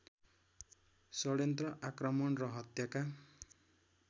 षड्यन्त्र आक्रमण र हत्याका